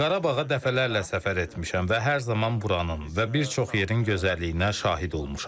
Qarabağa dəfələrlə səfər etmişəm və hər zaman buranın və bir çox yerin gözəlliyinə şahid olmuşam.